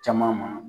Caman ma